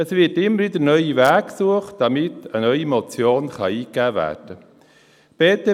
Es werden immer wieder neue Wege gesucht, damit eine neue Motion eingegeben werden kann.